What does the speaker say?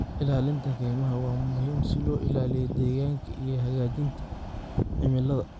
Ilaalinta kaymaha waa muhiim si loo ilaaliyo deegaanka iyo hagaajinta cimilada.